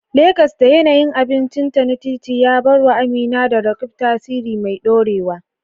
Legas, da yanayin abincinta na titi, ya bar wa Amina da Roqeeb tasiri mai dorewa.